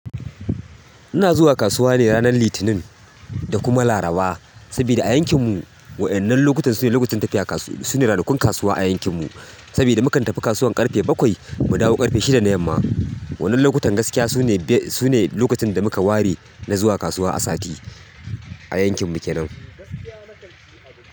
Ina zuwa kasuwa ne ranar Litinin da kuma Laraba. Saboda a yankin mu wa'annan lokutan sune lokacin tafiya kasuwa, sune ranakun kasuwa a yankin mu. Sabida mu kan tafi kasuwan ƙarfe bakwai mu dawo ƙarfe shida na yamma. Wa'annan lokutan gaskiya sune lokacin da muka ware na zuwa kasuwa a sati, a yankin mu kenan.